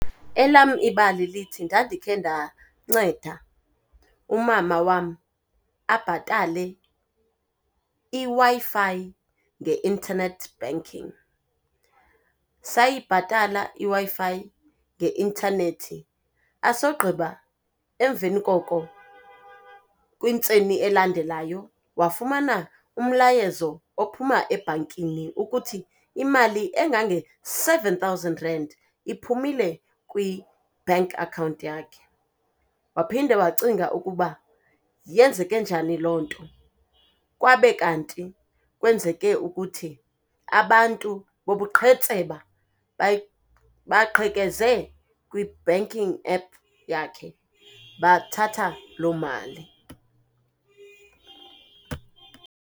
Elam ibali lithi, ndandikhe ndanceda umama wam abhatale iWi-Fi nge-internet banking. Sayibhatala iWi-Fi nge-intanethi asogqiba emveni koko kwintseni elandelayo wafumana umlayezo ophuma ebhankini ukuthi imali engange-seven thousand rand iphumile kwi-bank account yakhe. Waphinde wacinga ukuba yenzeke njani loo nto, kwabe kanti kwenzeke ukuthi abantu bobuqhetseba baqhekeze kwi-banking app yakhe bathatha loo mali.